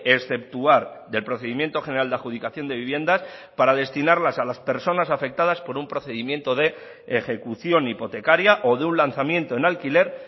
exceptuar del procedimiento general de adjudicación de viviendas para destinarlas a las personas afectadas por un procedimiento de ejecución hipotecaria o de un lanzamiento en alquiler